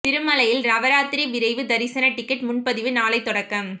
திருமலையில் நவராத்திரி விரைவு தரிசன டிக்கெட் முன்பதிவு நாளை தொடக்கம்